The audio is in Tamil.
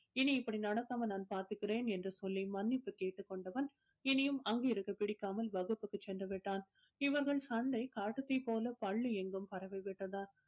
இனி இப்படி நடக்காம நான் பார்த்துக்கிறேன் என்று சொல்லி மன்னிப்பு கேட்டுக்கொண்டவன் இனியும் அங்கிருக்க பிடிக்காமல் வகுப்புக்கு சென்றுவிட்டான் இவர்கள் சண்டை காட்டுத் தீ போல பள்ளி எங்கும் பரவி விட்டது